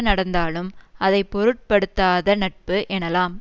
நடந்தாலும் அதை பொருட்படுத்தாத நட்பு எனலாம்